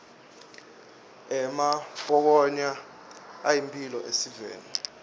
emampokoya ayimphilo esiveni